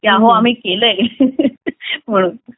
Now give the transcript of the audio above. हो आम्ही केलंय म्हणून